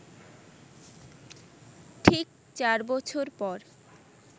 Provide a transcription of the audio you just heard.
ঠিক চার বছর পর